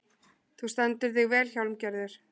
Þú stendur þig vel, Hjálmgerður!